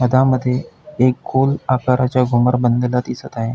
त्यामध्ये एक गोल आकाराचे घूमर बनलेल दिसत आहे.